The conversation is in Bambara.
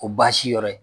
O baasi yɔrɔ ye